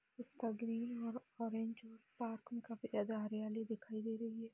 इस तस्वीर में ऑरेंज पार्किंग काफी ज्यादा हरियाली दिखाई दे रहे।